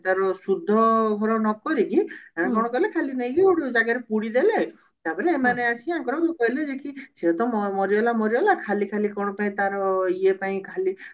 ସୁଧ ଘର ନକରିକି ଏମାନେ କଣ କଲେ ଖାଲି ନେଇକି ଗୁଟେ ଜାଗାରେ ପୁଡିଦେଲେ ତାପରେ ଏମାନେ ଆସି ଆଙ୍କର କହିଲେ ଯେ କି ସେ ତ ମରିଗଲା ମରିଗଲା ଖାଲି ଖାଲି ତାର କଣ ପାଇଁ ଇଏ ପାଇଁ ଖାଲି